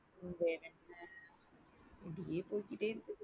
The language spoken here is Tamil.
வேற என்ன இப்படியே போயிட்டே இருக்கு.